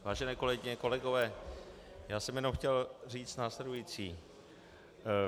Vážené kolegyně, kolegové, já jsem jenom chtěl říci následující.